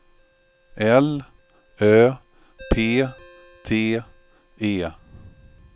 L Ö P T E